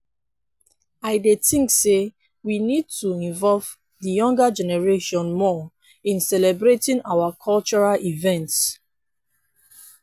i dey think say we need to involve di younger generation more in celebrating our cultural events.